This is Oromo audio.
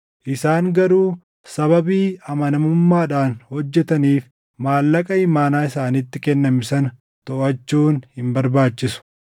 Isaan garuu sababii amanamummaadhaan hojjetaniif, maallaqa imaanaa isaanitti kenname sana toʼachuun hin barbaachisu.”